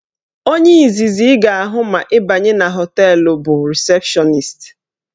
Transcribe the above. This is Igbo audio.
Onye izizi ị ga-ahụ ma ị banye na họteelụ bụ rịsepshọnist